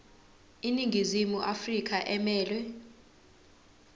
iningizimu afrika emelwe